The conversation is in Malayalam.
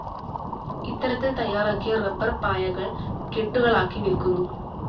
ഇത്തരത്തിൽ തയ്യാറാക്കിയ റബ്ബർ പായകൾ കെട്ടുകളാക്കി വിൽക്കുന്നു.